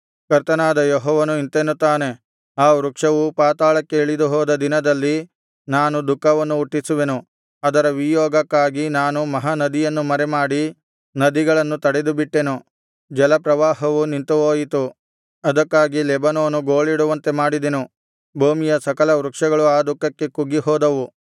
ಕರ್ತನಾದ ಯೆಹೋವನು ಇಂತೆನ್ನುತ್ತಾನೆ ಆ ವೃಕ್ಷವು ಪಾತಾಳಕ್ಕೆ ಇಳಿದು ಹೋದ ದಿನದಲ್ಲಿ ನಾನು ದುಃಖವನ್ನು ಹುಟ್ಟಿಸುವೆನು ಅದರ ವಿಯೋಗಕ್ಕಾಗಿ ನಾನು ಮಹಾ ನದಿಯನ್ನು ಮರೆಮಾಡಿ ನದಿಗಳನ್ನು ತಡೆದುಬಿಟ್ಟೆನು ಜಲಪ್ರವಾಹವು ನಿಂತುಹೋಯಿತು ಅದಕ್ಕಾಗಿ ಲೆಬನೋನು ಗೋಳಿಡುವಂತೆ ಮಾಡಿದೆನು ಭೂಮಿಯ ಸಕಲ ವೃಕ್ಷಗಳು ಆ ದುಃಖಕ್ಕೆ ಕುಗ್ಗಿಹೋದವು